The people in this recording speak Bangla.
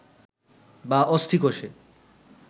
বা অস্থিকোষে